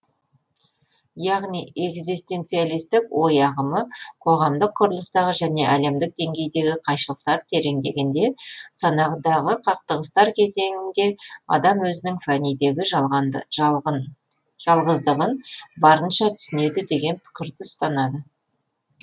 яғни экзистенциалистік ой ағымы қоғамдық құрылыстағы және әлемдік деңгейдегі қайшылықтар тереңдегенде санадағы қақтығыстар кезеңінде адам өзінің фәнидегі жалғыздығын барынша түсінеді деген пікірді ұстанады